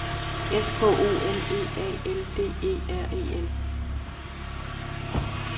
S K O L E A L D E R E N